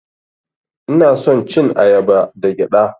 Ina son cin ayaba da gyaɗa.